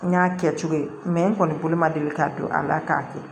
N y'a kɛ cogo ye n kɔni bolo ma deli ka don a la k'a kɛ